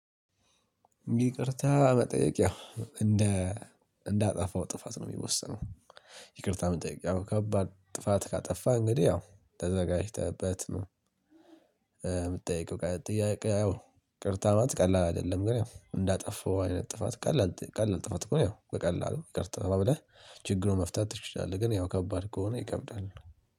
ይቅርታ መጠየቅ ያው እንደ እንዳጠፋው ጥፋት ነው የሚወሰነው። ይቅርታ መጠየቅ ከባድ ጥፋት ካጠፋ እንግዲህ ያው ተዘጋጅተህበት ነው። የምትጠይቀው ጥያቄ ያው ይቅርታ ማለት ቀላል አይደለም ግን እንዳጠፋው አይነት ጥፋት ቀላል ቀላል ጥፋት ከሆነ ያው በቀላሉ ይቅርታ ብለህ ችግሩ መፍታት ትችላለህ ግን ያው ከባድ ከሆነ ይከብዳል